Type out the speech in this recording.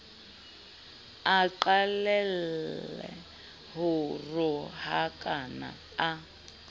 a qalelle ho rohakana a